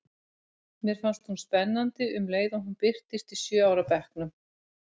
Mér fannst hún spennandi um leið og hún birtist í sjö ára bekknum.